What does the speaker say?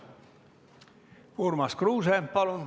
Urmas Kruuse, palun!